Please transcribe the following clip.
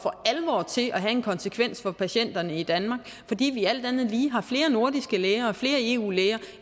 til at have en konsekvens for patienterne i danmark fordi vi alt andet lige har flere nordiske læger og flere eu læger